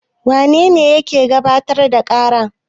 Wane ne ke gabatar da ƙara?